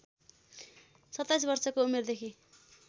२७ वर्षको उमेरदेखि